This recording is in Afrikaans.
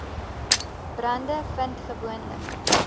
brande vind gewoonlik